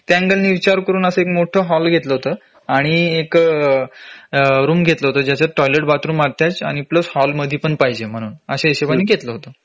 त्या हिशोबाने आम्ही त्या अँगेलनी विचार करून असं एक मोठा हॉल घेतलं होत आणि एक रूम घेतलं होत ज्याच्यात टॉयलेट बाथरूम अटॅच आणि प्लस हॉल मध्ये पण पाहिजे म्हणून अश्या हिशोबाने घेतलं होत